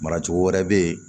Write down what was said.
Mara cogo wɛrɛ bɛ yen